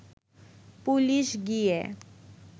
police গিয়ে